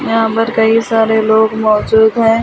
यहां पर कई सारे लोग मौजूद हैं।